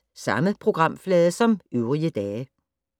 Samme programflade som øvrige dage